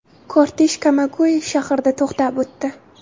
Kortej Kamaguey shahrida to‘xtab o‘tdi .